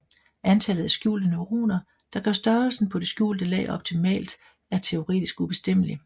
Antallet af skjulte neuroner der gør størrelsen på det skjulte lag optimalt er teoretisk ubestemmeligt